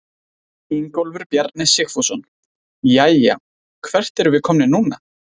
Ingólfur Bjarni Sigfússon: Jæja, hvert erum við komnir núna?